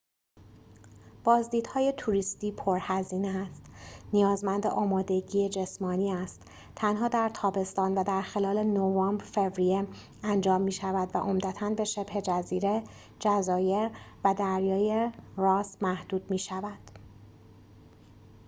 بازدیدهای توریستی پرهزینه است نیازمند آمادگی جسمانی است تنها در تابستان و در خلال نوامبر-فوریه انجام می‌شود و عمدتاً به شبه جزیره جزایر و دریای راس محدود می‌شود